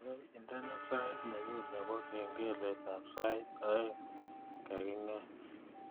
Gaigai indene sait nenyun nebo kengeletab sait aeng kaginget